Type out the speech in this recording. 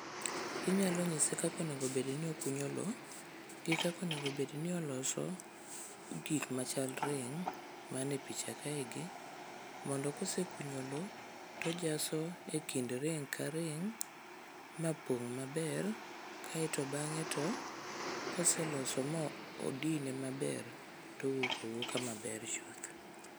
Inyalo nyise kaka onego bed ni okunyo lowo, gi kaka onego bedni oloso gik machal ring man e picha kaegi mondo kosekunyo lowo to ojaso ekind ring ma pong' maber kae to bang'e to koseloso ma odine maber to owuok awuoka maber chuth.